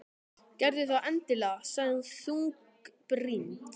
Gerðu það endilega sagði hún þungbrýnd.